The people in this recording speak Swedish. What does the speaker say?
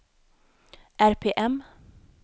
RPM